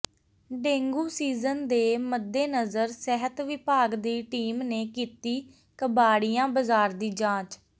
dengue season ਦੇ ਮੱਦੇਨਜ਼ਰ ਸਿਹਤ ਵਿਭਾਗ ਦੀ ਟੀਮ ਨੇ ਕੀਤੀ ਕਬਾੜੀਆ ਬਾਜ਼ਾਰ ਦੀ ਜਾਂਚ